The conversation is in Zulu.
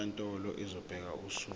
inkantolo izobeka usuku